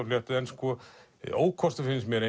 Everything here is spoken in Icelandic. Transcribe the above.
fléttuð en ókostur finnst mér